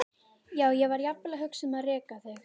Já, ég var jafnvel að hugsa um að reka þig.